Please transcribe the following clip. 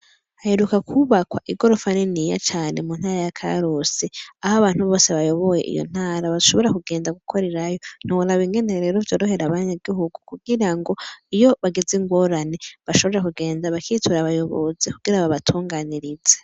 Haheruka kwubakwa igorofa niniya cane mu ntara ya karusi. Aho abantu bose bayoboye iyo ntara bashobora kugenda gukorerayo. Ntiworaba rero ingene rero vyorohera abanyagihugu kugira ngo iyo bagize ingorane, bashobore kugenda bakitura abayobozi kugira babatunganirize.